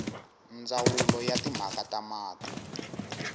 ndzawulo ya timhaka ta mati